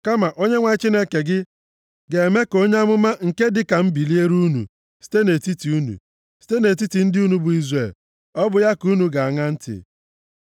Kama Onyenwe anyị Chineke gị ga-eme ka onye amụma nke dị ka m biliere unu site nʼetiti unu, site nʼetiti ndị unu bụ Izrel. Ọ bụ ya ka unu ga-aṅa ntị.